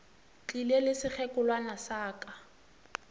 tlile le sekgekolwana sa ka